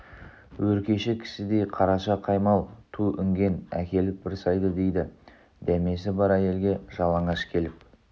өркеші кісідей қараша қаймал ту інген әкеліп бір сайды дейді дәмесі бар әйелге жалаңаш келіп